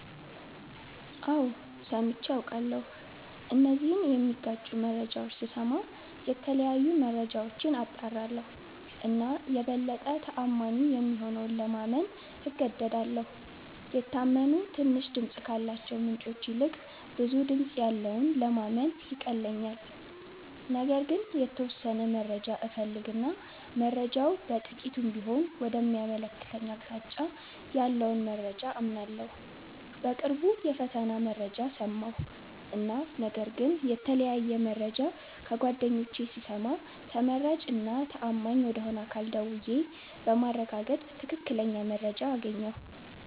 አዎ ሠምቼ አቃለሁ እነዚህን ሚጋጩ መረጃዎች ስስማ የተለያዩ መረጃዎች አጣራለሁ እና የበለጠ ተአማኒ የሆነውን ለማመን እገደዳለሁ። የታመኑ ትንሽ ድምፅ ካላቸው ምንጮች ይልቅ ብዙ ድምጽ ያለውን ለማመን ይቀለኛል። ነገር ግን የተወሠነ መረጃ እፈልግ እና መረጃው በጥቂቱም ቢሆን ወደ ሚያመለክተኝ አቅጣጫ ያለውን መረጃ አምናለሁ። በቅርቡ የፈተና መረጃ ሠማሁ እና ነገር ግን የተለያየ መረጃ ከጓደኞቼ ስሰማ ተመራጭ እና ተአማኝ ወደ ሆነ አካል ደውዬ በማረጋገጥ ትክክለኛ መረጃ አገኘሁ።